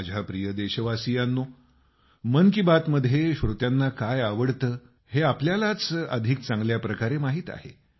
माझ्या प्रिय देशवासियांनो मन की बात मध्ये श्रोत्यांना काय आवडतं हे आपल्यालाच अधिक चांगल्या प्रकारे माहित आहे